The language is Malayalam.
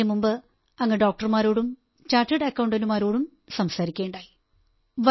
അതിനു മുമ്പ് അങ്ങ് ഡോക്ടർമാരോടും ചാർട്ടേഡ് അക്കൌണ്ടന്റുമാരോടും സംസാരിക്കയുണ്ടായി